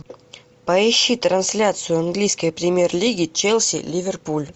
поищи трансляцию английской премьер лиги челси ливерпуль